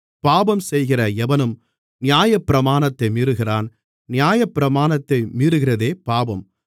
பாவம் செய்கிற எவனும் நியாயப்பிரமாணத்தை மீறுகிறான் நியாயப்பிரமாணத்தை மீறுகிறதே பாவம்